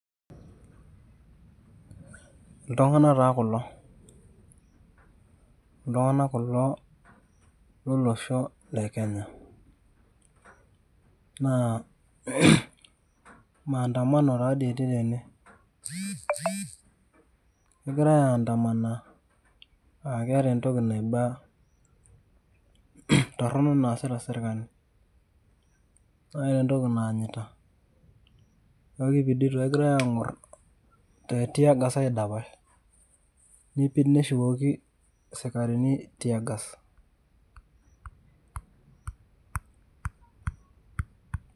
itung'anak taa kulo, ltung'anak kulo lolosho le kenya ,naa naa maandamano a etii teine, egirai aindamana aa keeta entoki naiba toronok naasita serkali ,ore entoki naanyita kegira angor te tiagas aidapash ,nipid neshukuko sikarini tiagas